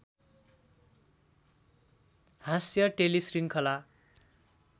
हाँस्य टेलिशृङ्खला